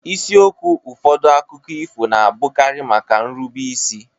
Isiokwu ụfọdụ akụkọ ifo na-abụkarị maka nrube isi.